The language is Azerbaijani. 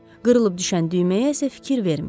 Qırılıb düşən düyməyə isə fikir verməyib.